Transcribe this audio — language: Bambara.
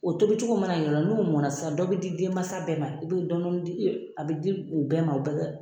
O tobicogo mana yira n'o mɔna sisan dɔ bɛ di denmansa bɛɛ ma i bɛ dɔɔnin dɔɔnin di a bɛ di u bɛɛ ma.